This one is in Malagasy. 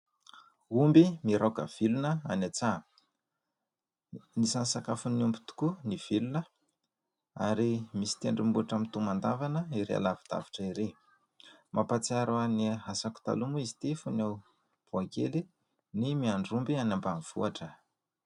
Omby miraoka vilona any an-tsaha. Isan'ny sakafon'ny omby tokoa ny vilona ary misy tendrombohitra mitomandavana ery alavidavitra ery. Mampatsiaro ahy ny asako taloha moa izy ity fony mbola boay kely ny miandry omby any ambanivohitra.